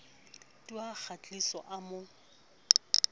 tu ha kgahliso a mo